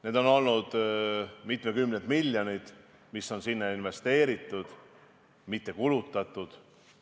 Need on olnud mitmekümned miljonid, mis on sinna investeeritud – mitte kulutatud!